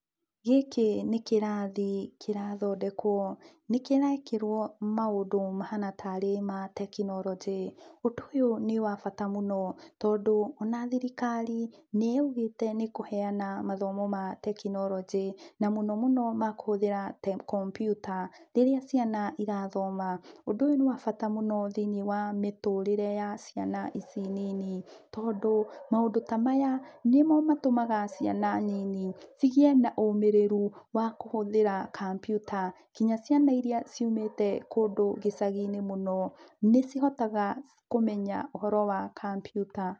Gĩkĩ nĩ kĩrathi kĩrathondekwo, nĩ kĩrekĩrwo maũndũ mahana tarĩ ma tekinoronjĩ. Ũndũ ũyũ nĩ wa bata mũno tondũ ona thirikari nĩ yaugĩte nĩ ĩkũheana mathomo ma tekinoronjĩ na mũno mũno ma kũhũthĩra kompyuta rĩrĩa ciana irathoma. Ũndũ ũyũ nĩ wa bata mũno thĩiniĩ wa mĩtũrĩre ya ciana ici nini tondũ maũndũ ta maya nĩ mo matũmaga ciana nini cigĩe na ũmĩrĩru wa kũhũthĩra kampyuta, nginya ciana iria ciumĩte kũndũ gĩcagi-inĩ mũno nĩ cihotaga kũmenya ũhoro wa kampyuta.